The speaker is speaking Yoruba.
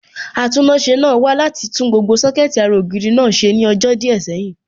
Atúnáṣe náà wá láti tún gbogbo Sọ́kẹ̀tì ara ògiri náà ṣe ní ọjọ́ díẹ̀ sẹ́yìn